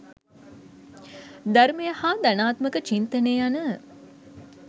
ධර්මය හා ධනාත්මක චින්තනය යන